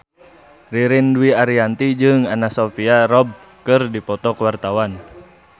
Ririn Dwi Ariyanti jeung Anna Sophia Robb keur dipoto ku wartawan